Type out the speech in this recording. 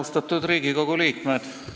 Austatud Riigikogu liikmed!